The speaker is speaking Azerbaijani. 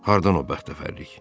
Hardan o bəxtəvərlik?